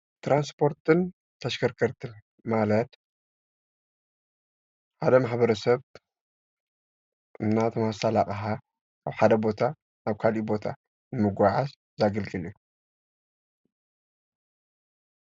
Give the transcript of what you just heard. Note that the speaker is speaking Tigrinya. ትራንስፖርትን ተሽከርከርትን ማለት ሓደ ማሕብረሰብ ኣቅሓ ካብ ሓደ ቦታ ናብ ኻሊእ ቦታ ንምጉዕዓዝ ዘገልግል እዩ።